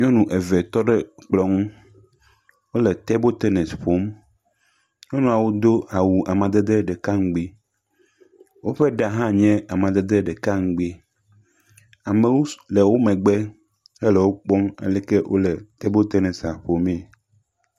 Nyɔnu eve tɔ ɖe ekplɔ ŋu. Wole table tennis ƒom. Nyɔnua wodo awu amedede ɖeka ŋugbi, wo ƒe ɖa hã nye amedede ɖeka ŋugbi. Amewo le wokpɔm ale si wo le table tenisia ƒome.